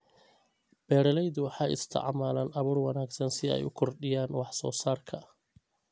Beeraleydu waxay isticmaalaan abuur wanaagsan si ay u kordhiyaan wax-soo-saarka.